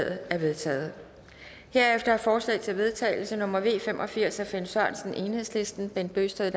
er vedtaget herefter er forslag til vedtagelse nummer v fem og firs af finn sørensen bent bøgsted